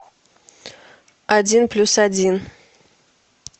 один плюс один